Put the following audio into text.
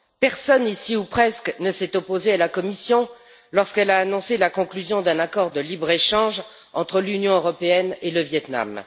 Personne ici, ou presque, ne s'est opposé à la Commission lorsqu'elle a annoncé la conclusion d'un accord de libre échange entre l'Union européenne et le Viêt Nam.